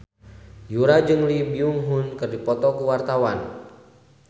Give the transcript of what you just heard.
Yura jeung Lee Byung Hun keur dipoto ku wartawan